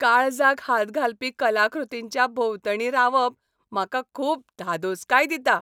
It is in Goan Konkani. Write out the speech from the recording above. काळजाक हात घालपी कलाकृतींच्या भोंवतणी रावप म्हाका खूब धादोसकाय दिता.